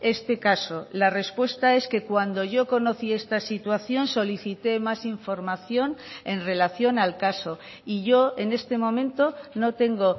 este caso la respuesta es que cuando yo conocí esta situación solicité más información en relación al caso y yo en este momento no tengo